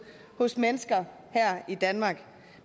hos mennesker her i danmark